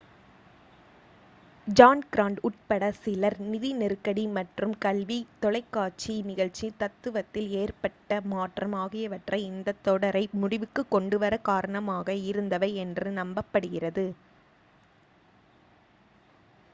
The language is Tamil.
ஜான் கிராண்ட் உட்பட சிலர் நிதி நெருக்கடி மற்றும் கல்வி தொலைக்காட்சி நிகழ்ச்சித் தத்துவத்தில் ஏற்பட்ட மாற்றம் ஆகியவை இந்தத் தொடரை முடிவுக்குக் கொண்டு வர காரணமாக இருந்தவை என்று நம்பப்படுகிறது